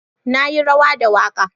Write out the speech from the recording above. Na yi rawa da waka.